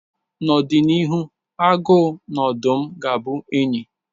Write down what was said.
N'ọdịnihu, agụ na odụm ga-abụ enyi.